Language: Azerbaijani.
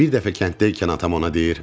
Bir dəfə kənddəykən atam ona deyir: